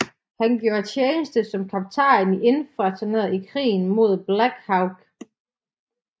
Han gjorde tjeneste som kaptajn i infanteriet i Krigen mod Black Hawk